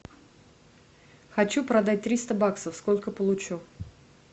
хочу продать триста баксов сколько получу